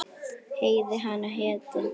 Heiði hana hétu